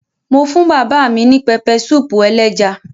Mo fún bàbá mi ní pẹpẹsúúpù ẹléja.